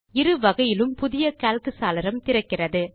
இரு வகையிலும் புதிய கால்க் சாளரம் திறக்கிறது